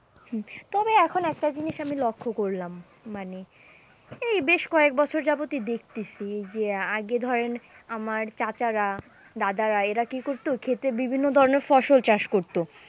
হম তবে এখন একটা জিনিস আমি লক্ষ্য করলাম মানে এই বেশ কয়েক বছর যাবতই দেখতাছি, যে আগে ধরেন আমার চাচারা, দাদারা এরা কি করতো, ক্ষেতে বিভিন্ন ধরণের ফসল চাষ করতো।